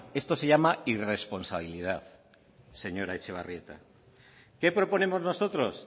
esto se llama irresponsabilidad señora etxebarrieta qué proponemos nosotros